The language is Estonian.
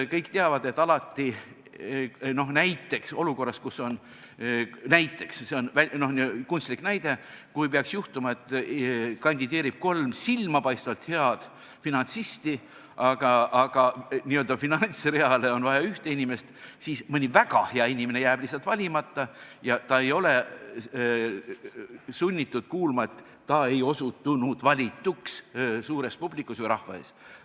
Kõik teavad, et kui peaks juhtuma näiteks nii – see on kunstlik näide –, et olukorras, kus kandideerib kolm silmapaistvalt head finantsisti, aga n-ö finantsreale on vaja üht inimest, jääb mõni väga hea inimene lihtsalt valimata ja ta ei ole sunnitud kuulama seda, et ta ei osutunud valituks, suure publiku või rahva ees.